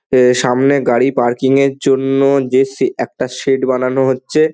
এ সামনে গাড়ি পার্কিং -এর জন্য যে শে একটা শেড বানানো হচ্ছে-এ। ।